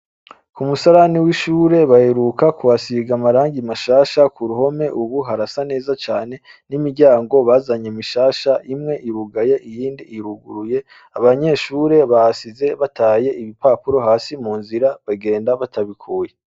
Kumusarani w’ishure baheruka kuhasiga amarangi mashasha kuruhome ubu harasa neza cane, n’imiryamgo bazanye mishasha imwe irugaye iyindi iruguruye, abanyeshure bahasize bataye ibipapuro hasi munzira bagenda batabikuye.